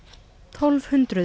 tólf hundruð